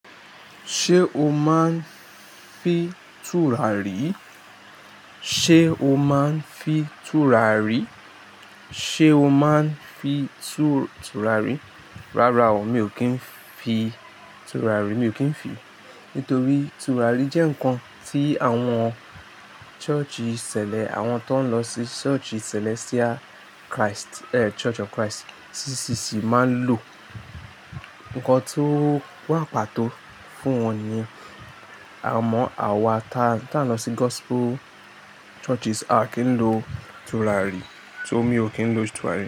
Ṣé o máa ń fi tùràrí? Ṣé o máa ń fi tùràrí? Ṣé o máa ń fi tù-tùràrí? Rárá o, mi ò kí ń fi tùràrí. Mi ò kí ń fi, nítorí tùràrí jẹ́ nǹkan tí àwọn church ṣẹ̀lẹ̀, àwọn tó ń lọ sí church si Celestial Christ, Church of Christ CCC máa ń lò. Nǹkan tó wà pàtó fún wọn ni yen. Àmọ́ àwa ta n lọ sí gospel churches, a kì n lo tùràrí. So mí ò kí ń lo tùràrí.